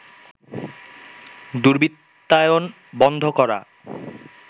দুর্বৃত্তায়ন বন্ধ করা